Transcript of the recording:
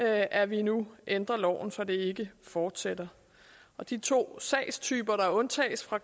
at vi nu ændrer loven så det ikke fortsætter de to sagstyper der undtages fra